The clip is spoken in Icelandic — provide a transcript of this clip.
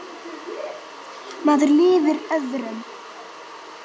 Maður lifir öðrum.